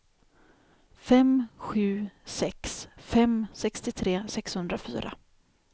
fem sju sex fem sextiotre sexhundrafyra